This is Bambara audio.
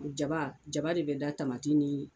Jaba jaba re bɛ da ni